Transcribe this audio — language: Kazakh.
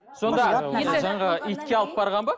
сонда жаңағы итке алып барған ба